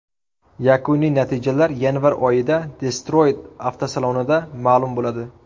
Yakuniy natijalar yanvar oyida Detroyt avtosalonida ma’lum bo‘ladi.